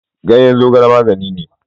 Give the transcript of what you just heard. Ganyen zogal na magani.